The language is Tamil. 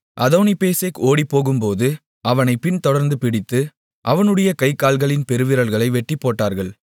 அதோனிபேசேக் ஓடிப்போகும்போது அவனைப் பின்தொடர்ந்து பிடித்து அவனுடைய கை கால்களின் பெருவிரல்களை வெட்டிப்போட்டார்கள்